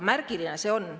Märgiline see on.